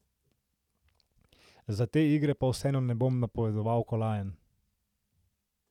Za te igre pa vseeno ne bom napovedoval kolajn.